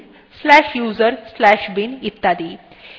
এই আউটপুট একটি system থেকে অন্য systemএ একটু আলাদা হতে পারে